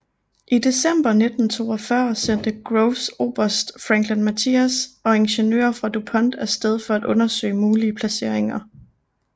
I december 1942 sendte Groves oberst Franklin Matthias og ingeniører fra DuPont af sted for at undersøge mulige placeringer